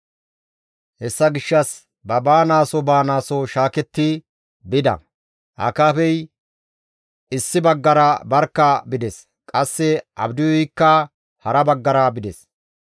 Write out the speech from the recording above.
Hessa gishshas ba baanaaso baanaaso shaaketti bida; Akaabey issi baggara barkka bides; qasse Abdiyuykka hara baggara bides.